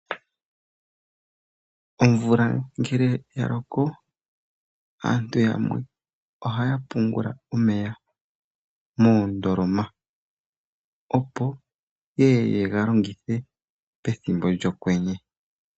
Omvula ngele ya loko aantu yamwe ohaya pungula omeya moondoloma opo yeye yega longithe pethimbo lyokwenye.